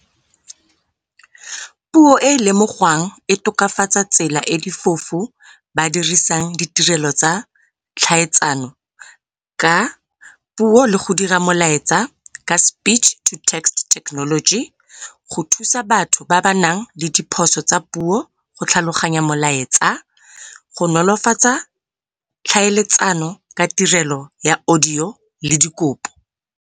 Puo e e lemogwang e tokafatsa tsela e difofu ba dirisang ditirelo tsa tlhaetsano ka puo, le go dira molaetsa ka speech to text technology, go thusa batho ba ba nang le diphoso tsa puo, go tlhaloganya molaetsa, go nolofatsa tlhaeletsano ka tirelo ya audio le dikopo.